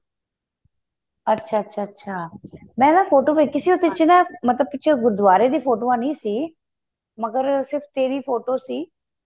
ਅੱਛਾ ਅੱਛਾ ਅੱਛਾ ਮੈਂ ਨਾ ਫ਼ੋਟੋ ਵੇਖੀ ਸੀ ਉਹਦੇ ਚ ਨਾ ਮਤਲਬ ਕਿ ਪਿਛੇ ਗੁਰੂਦਵਾਰੇ ਦੀ ਫੋਟੋਆਂ ਨਹੀਂ ਸੀ ਮਗ਼ਰ ਸਿਰਫ਼ ਤੇਰੀ ਫ਼ੋਟੋ ਸੀ